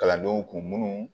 Kalandenw kun munnu